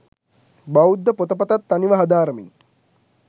බෞද්ධ පොත පතත් තනිව හදාරමින්